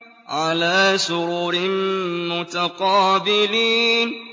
عَلَىٰ سُرُرٍ مُّتَقَابِلِينَ